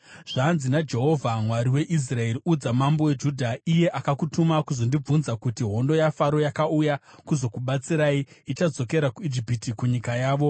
“Zvanzi naJehovha, Mwari weIsraeri: Udza mambo weJudha, iye akakutuma kuzondibvunza, kuti, ‘Hondo yaFaro yakauya kuzokubatsirai, ichadzokera kuIjipiti kunyika yavo.